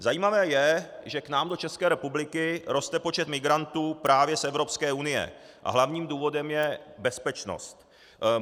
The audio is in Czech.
Zajímavé je, že k nám do České republiky roste počet migrantů právě z Evropské unie a hlavním důvodem je bezpečnost.